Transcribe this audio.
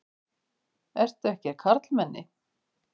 Ertu ekki karlmenni?